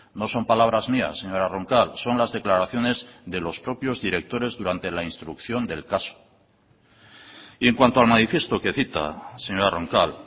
no son palabras mías señora roncal son las declaraciones de los propios directores durante la instrucción del caso y en cuanto al manifiesto que cita señora roncal